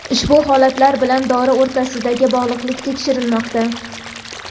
ushbu holatlar bilan dori o‘rtasidagi bog‘liqlik tekshirilmoqda.